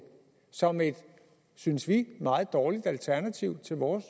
som et synes vi meget dårligt alternativ til vores